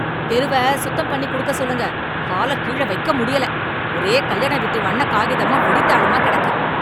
தெருவ சுத்தம் பண்ணி குடுக்க சொல்லுங்க, கால கீழ வைக்க முடியல, ஒரே கல்யாண வீட்டுக் வண்ணக் காகிதமும், வெடித் தாளுமா கிடக்கு.